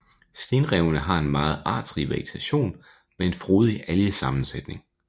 Stenrevene har en meget artsrig vegetation med en frodig algesammensætning